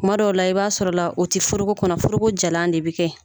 Kuma dɔw la i b'a sɔrɔ la, o tɛ foroko kɔnɔ, foroko jalan de bɛ kɛ ye.